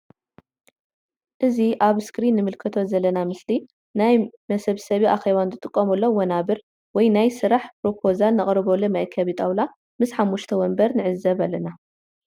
እዚ ኣብ እስክሪን ንምልከቶ ዘለና ምስሊ ናይ ምሰብሰቢ ኣኬባ ንጥቀመሎም ወናበር ወይ ናይ ስራሕ ፕሮፖዛል ነቅርበሉ መአከቢ ጣውላ ምስ ሓሙሽተ ወንበር ንዕዘብ ኣለና።